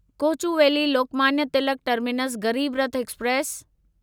Kochuveli Lokmanya Tilak terminus Garib Rath express